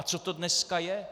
A co to dneska je?